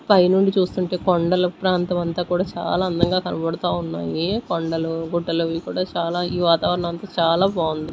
పై నుండి చూస్తుంటే కొండల ప్రాంతం అంతా కూడా చాలా అందంగా కనబడుతా ఉన్నాయి కొండలు గుట్టలు అవి కూడా చాలా ఈ వాతావరణం అంతా చాలా బాగుం--